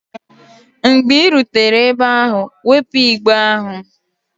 Mgbe ị rutere ebe ahụ, wepụ igbe ahụ!